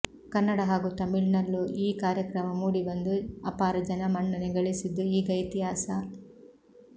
ಕನ್ನಡ ಹಾಗೂ ತಮಿಳಿನಲ್ಲೂ ಈ ಕಾರ್ಯಕ್ರಮ ಮೂಡಿಬಂದು ಅಪಾರ ಜನಮನ್ನಣೆ ಗಳಿಸಿದ್ದು ಈಗ ಇತಿಹಾಸ